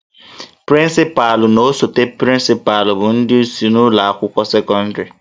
Prịncịpalụ na osote prịncịpalụ bụ ndị isi ụlọ akwụkwọ sekọndịrị